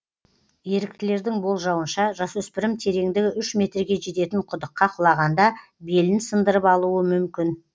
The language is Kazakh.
еріктілердің болжауынша жасөспірім тереңдігі үш метрге жететін құдыққа құлағанда белін сындырып алуы мүмкін